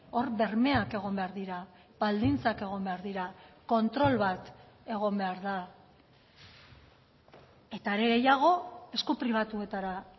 hor bermeak egon behar dira baldintzak egon behar dira kontrol bat egon behar da eta are gehiago esku pribatuetara